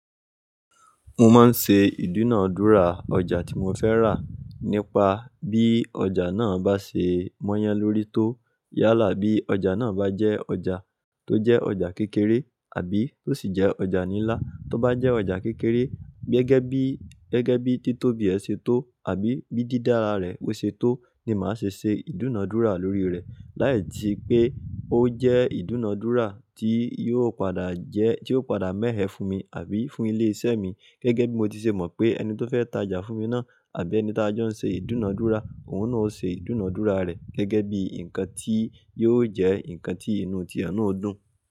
Mo máa ń ṣe ìdúnàádúrà ọjà tí mo fẹ́ rà nípa bí ọjà náà bá ṣe mọ́yàn lórí tó yálà bí ọjà náà bá jẹ́ ọjà tó jẹ́ ọjà kékeré àbí tó sì jẹ́ ọjà ńlá. Tó bá jẹ́ ọjà kékeré gẹ́gẹ́ bí, gẹ́gẹ́ bí títóbi ẹ ṣe tó àbí bí dídára rẹ̀ ṣe tó ni màá ṣe ṣe ìdúnàádúrà lórí rẹ̀. Láì tí pé ó jẹ́ ìdúnàádúrà tí yóò padà jẹ́, tí yóò padà mẹ̀ẹ́ fún mi àbí fún ilé-iṣẹ́ mi. Gẹ́gẹ́ bí mo ti ṣe mọ̀ pé ẹni tó fẹ́ ta ọjà fún mi náà àbí ẹni tá jọ ń ṣe ìdúnàádúrà òun náà ó ṣe ìdúnàádúrà rẹ̀ gẹ́gẹ́ bí nǹkan tí yóò jẹ́ nǹkan tí inú ti e nà ó dùn.